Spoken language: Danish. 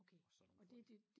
Og sådan nogle folk